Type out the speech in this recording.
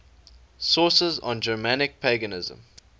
sources on germanic paganism